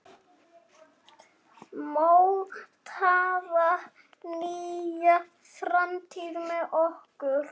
Mótaðu nýja framtíð með okkur!